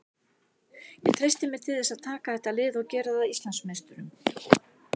Ég treysti mér til þess að taka þetta lið og gera það að Íslandsmeisturum.